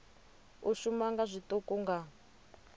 u shuma nga zwiṱuku nga